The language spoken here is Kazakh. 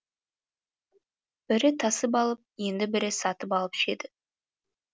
бірі тасып алып енді бірі сатып алып ішеді